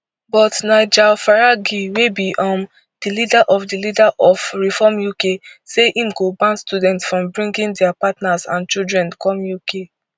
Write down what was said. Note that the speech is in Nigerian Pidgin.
but nigel farage wey be um di leader di leader of reform uk say im go ban students from bringing dia partners and children come uk